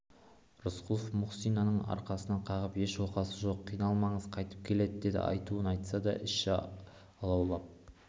рысқұлов мұхсинаның арқасынан қағып еш оқасы жоқ қиналмаңыз қайтып келеді деді айтуын айтса да іші алаулап